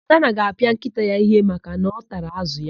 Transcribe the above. Adanna ga-apịa nkịta ya íhé maka na ọ tara ázụ̀ ya.